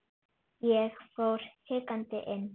Ég fór hikandi inn.